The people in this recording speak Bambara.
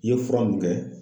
I ye fura mun kɛ.